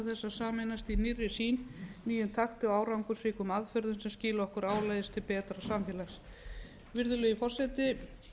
sameinast í nýrri sýn nýjum takti og árangursríkum aðferðum sem skila okkur áleiðis til betra samfélags virðulegi forseti